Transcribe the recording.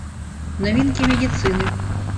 новинки медицины